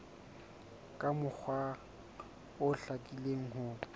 ka mokgwa o hlakileng ho